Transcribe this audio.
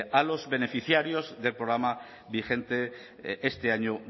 años a los beneficiarios del programa vigente este año